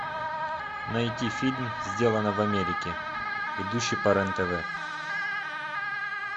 найти фильм сделано в америке идущий по рен тв